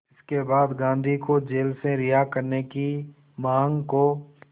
इसके बाद गांधी को जेल से रिहा करने की मांग को